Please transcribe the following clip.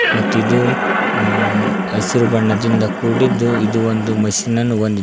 ಮತ್ತು ಇದು ಹಸಿರು ಬಣ್ಣದಿಂದ ಕೂಡಿದ್ದು ಇದು ಒಂದು ಮಷೀನ್ ನನ್ನು ಹೊಂದಿದೆ.